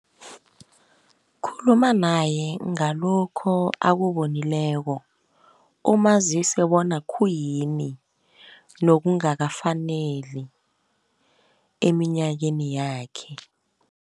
Khuluma naye ngalokho akuwonileko, umazise bona khuyini nokungakafaneli eminyakeni yakhe.